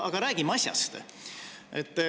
Aga räägime asjast.